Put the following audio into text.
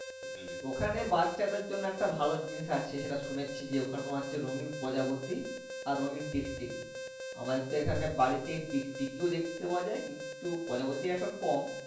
এখানে ওখানে বাচ্চা দেড় জন্য একটা ভালো জিনিস আছে শুনেছি যে ওখানে তোমার হচ্ছে রোনিং প্রজাপতি আর রোনিং টিকটিকি আবার আছে যে বাড়িতে টিকটিকি দেখতে পাওয়া যাই কিন্তু পাওয়া তা হচ্ছে কম।